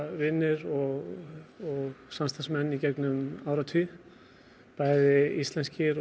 vinir og samstarfsmenn í gegnum árin bæði íslenskir og